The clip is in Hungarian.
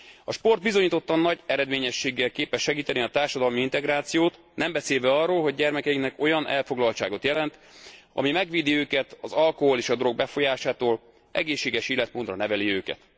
A sport bizonyítottan nagy eredményességgel képes segíteni a társadalmi integrációt, nem beszélve arról, hogy gyermekeinknek olyan elfoglaltságot jelent, ami megvédi őket az alkohol és a drog befolyásától, egészséges életmódra neveli őket.